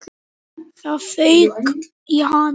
Það fauk í hana.